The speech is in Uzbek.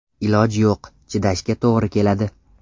Iloj yo‘q, chidashga to‘g‘ri keladi.